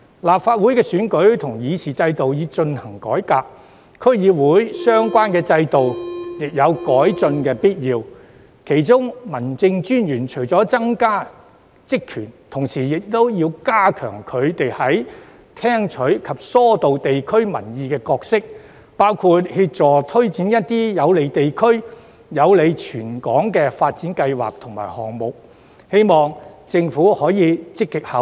立法會選舉及議事制度已進行改革，區議會的相關制度亦有改進的必要，其中民政事務專員除了增加職權，同時亦要強化聽取及疏導地區民意的角色，包括協助推展一些有利地區、有利全港的發展計劃和項目，希望政府可以積極考慮。